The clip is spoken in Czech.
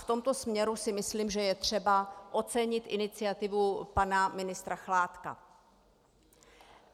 V tomto směru si myslím, že je třeba ocenit iniciativu pana ministra Chládka.